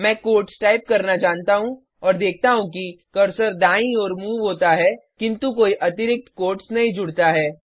मैं quotes type करना जानता हूँ और देखता हूँ कि कर्सर दाईं ओर मूव होता है किंतु कोई अतिरिक्त कोट्स नहीं जुड़ता है